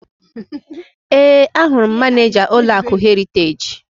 Ee, ahụrụ m Manịja ụlọakụ Heriteji.